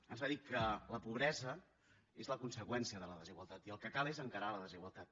ens va dir que la pobresa és la conseqüència de la desigualtat i el que cal és encarar la desigualtat